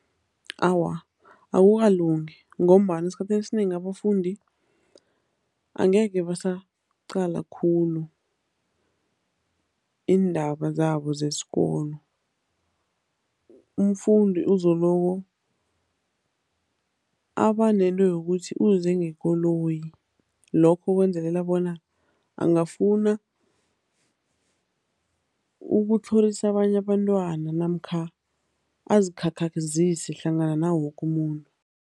Awa, akukalungi ngombana esikhathini esinengi abafundi angekhe basaqala khulu iindaba zabo zesikolo. Umfundi uzoloko abanento yokuthi uze ngekoloyi, lokho kwenzelela bona angafuna ukutlhorisa abanye abantwana namkha azikhakhazise hlangana nawoke umuntu.